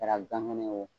Kɛra gan ŋɛnɛ ye wo